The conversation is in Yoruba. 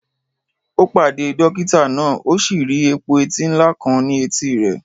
Ó pàdé dókítà náà, ó sì rí epo-eti ńlá kan ní etí rẹ̀